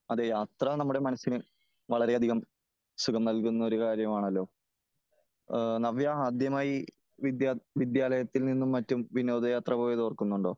അതേ യാത്ര നമ്മുടെ മനസ്സിന് വളരെ അധികം സുഖം നല്കുന്ന ഒരു കാര്യമാണല്ലോ ? നവ്യ ആദ്യമായി വിദ്യ വിദ്യാലയത്തിൽ നിന്നും മറ്റും വിനോദ യാത്ര പോയത് ഓർക്കുന്നുണ്ടോ?